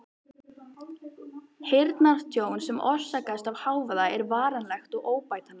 Heyrnartjón sem orsakast af hávaða er varanlegt og óbætanlegt.